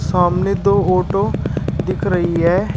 सामने दो ऑटो दिख रही है।